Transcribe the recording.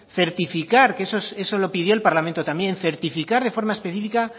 certificar que eso lo pidió el parlamento también certificar de forma específica